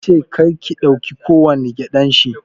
Yace karka dauki kowani gƴaɗan shi